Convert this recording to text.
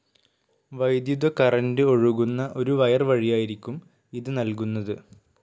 വൈദ്യുത കറന്റ്‌ ഒഴുകുന്ന ഒരു വയർ വഴിയായിരിക്കും ഇത് നൽകുന്നത്.